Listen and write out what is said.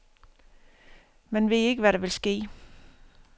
Man ved ikke, hvad der vil ske.